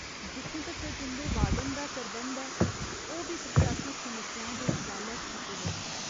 जित्थूं तक्कर तुं'दे वार्डन दा सरबंध ऐ, ओह् बी प्रशासनिक समस्याएं दे इस जालै च फसे दे न।